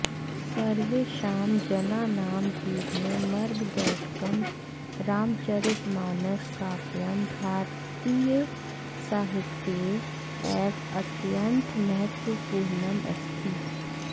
सर्वेषां जनानां जीवने मार्गदर्शकं रामचरितमानस काव्यं भारतीयसाहित्ये एव अत्यन्तं महत्वपूर्णम् अस्ति